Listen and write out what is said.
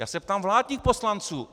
Já se ptám vládních poslanců.